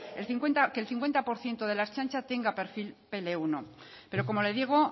que el cincuenta por ciento de la ertzaintza tenga perfil pe ele uno pero como le digo